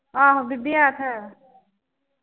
ਆਹੋ ਬੀਬੀ ਆ ਤੇ